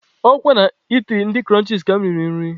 Ọ kwa na itiri ndị Kụrụnchis ka mụ riri nri.